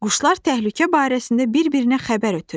Quşlar təhlükə barəsində bir-birinə xəbər ötürür.